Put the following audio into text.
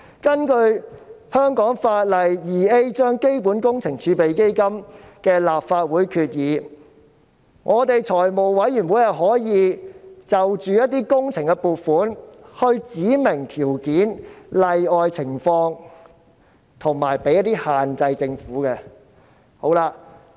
根據香港法例第 2A 章《基本工程儲備基金》的立法會決議，立法會財務委員會可就一些工程撥款指明條件、例外情況及給予政府一些限制。